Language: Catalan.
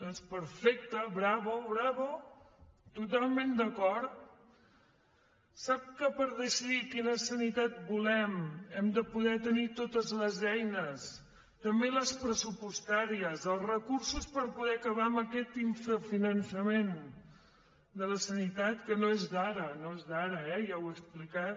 doncs perfecte bravo totalment d’acord sap que per decidir quina sanitat volem hem de poder tenir totes les eines també les pressupostàries els recursos per poder acabar amb aquest infrafinançament de la sanitat que no és d’ara no és d’ara ja ho he explicat